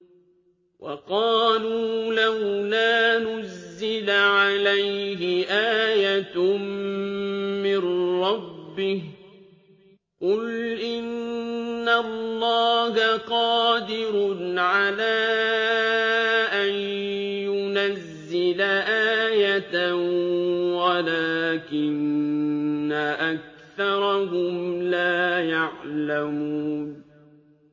وَقَالُوا لَوْلَا نُزِّلَ عَلَيْهِ آيَةٌ مِّن رَّبِّهِ ۚ قُلْ إِنَّ اللَّهَ قَادِرٌ عَلَىٰ أَن يُنَزِّلَ آيَةً وَلَٰكِنَّ أَكْثَرَهُمْ لَا يَعْلَمُونَ